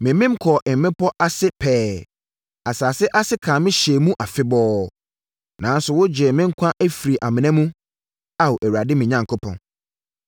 Memem kɔɔ mmepɔ no ase pɛɛ; asase ase kaa me hyɛɛ mu afebɔɔ. Nanso wogyee me nkwa firii amena mu, Ao Awurade, me Onyankopɔn.